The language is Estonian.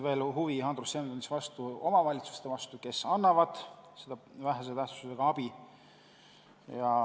Andrus Seeme tundis huvi omavalitsuste vastu, kes annavad seda vähese tähtsusega abi.